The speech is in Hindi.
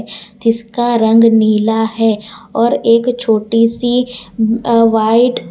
जिसका रंग नीला है और एक छोटी सी अह वाइट --